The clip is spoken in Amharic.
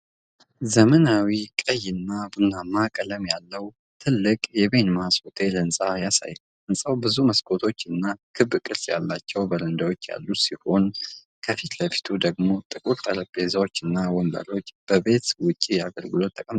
ዘመናዊ ቀይና ቡናማ ቀለም ያለው ትልቅ የ"ቤንማስ ሆቴል" ሕንፃ ያሳያል። ሕንፃው ብዙ መስኮቶችና ክብ ቅርጽ ያላቸው በረንዳዎች ያሉት ሲሆን፤ ከፊት ለፊቱ ደግሞ ጥቁር ጠረጴዛዎች እና ወንበሮች ለቤት ውጪ አገልግሎት ተቀምጠዋል።